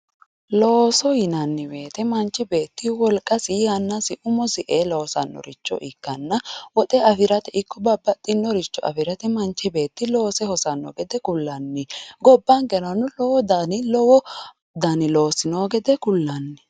looso yinanni wote manchi beetti wolqasi yannasi umosi ee loosannoricho ikkanna woxe afirate ikko babbaxinoricho afirate manchi beetti loose hosanno gede kullanni gobbankerano lowo dani loosi noo gede kullanni.